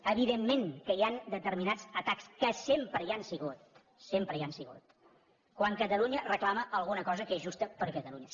evidentment que hi han determinats atacs que sempre hi han sigut sempre hi han sigut quan catalunya reclama alguna cosa que és justa per a catalunya